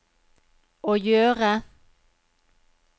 å gjøre